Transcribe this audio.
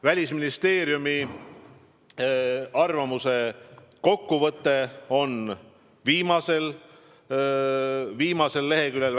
Välisministeeriumi arvamuse kokkuvõte on viimasel leheküljel.